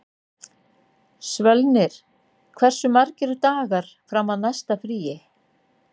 Svölnir, hversu margir dagar fram að næsta fríi?